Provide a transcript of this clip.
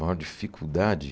maior dificuldade.